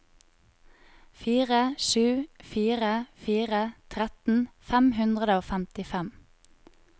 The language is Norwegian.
fire sju fire fire tretten fem hundre og femtifem